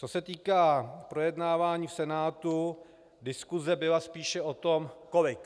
Co se týká projednávání v Senátu, diskuse byla spíše o tom kolik.